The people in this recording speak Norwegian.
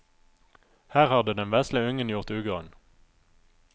Her hadde den vesle ungen gjort ugagn.